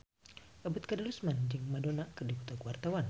Ebet Kadarusman jeung Madonna keur dipoto ku wartawan